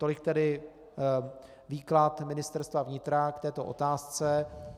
Tolik tedy výklad Ministerstva vnitra k této otázce.